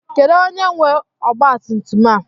Kedu onye nwe ọgba tum tum a?